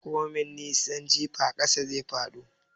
Komai nisan jifa ƙasa zai fado.